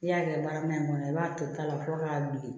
I y'a kɛ baara min kɔnɔ i b'a to ta la fɔlɔ k'a bilen